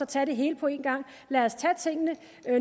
tage det hele på én gang lad os tage tingene